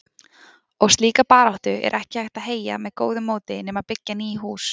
Og slíka baráttu er ekki hægt að heyja með góðu móti nema byggja ný hús.